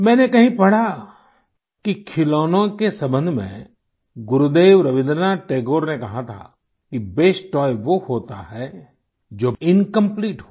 मैंने कहीं पढ़ा कि खिलौनों के सम्बन्ध में गुरुदेव रवीन्द्रनाथ टैगोर ने कहा था कि बेस्ट तोय वो होता है जो इनकंप्लीट हो